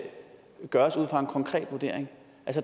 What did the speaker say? gøres ud fra en konkret vurdering